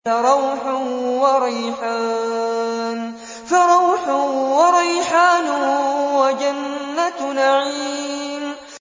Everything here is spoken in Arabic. فَرَوْحٌ وَرَيْحَانٌ وَجَنَّتُ نَعِيمٍ